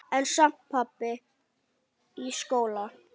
En samt- pabbi í skóla?